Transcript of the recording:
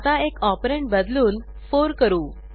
आता एक ऑपरंड बदलून 4 करू